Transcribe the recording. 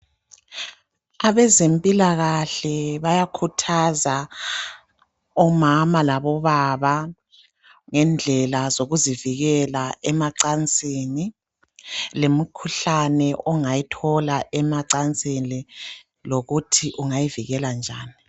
Abezempilakahle bayakhuthaza omama labobaba ngendlela zokuzivikela emacansini lemikhuhlane ongayithola emacansini lokuthi ungayivikela njani.